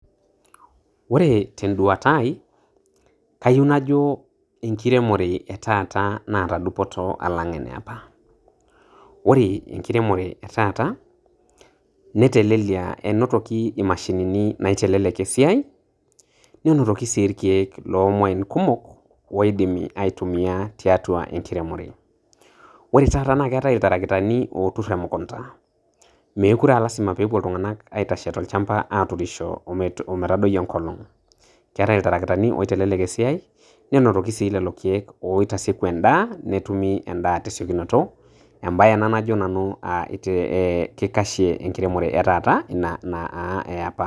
Ore tenduata aai, kayieu najo enkiremore e taata naata dupoto alang' eniapa. Ore enkiremore e taata netelelia, enotoki imashinini naitelelek esiai, neinotoki sii irkeek loomuain kumok oidimi aitumia tiatua enkiremore. Ore taata naaketai iltarakitani ootur emukunda meekure e lazima peepuo iltung'anak aitashe tolchamba aaturisho ometadoi enkolong'. Keetai iltarakitani oitelelek esiai, ninotoki sii lelo keek oitasieku endaa netumi endaa tesikionito, embae ena najo nanu kikashe enkiremore e taata ina naa eapa.